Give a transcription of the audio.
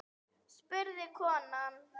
spurði konan.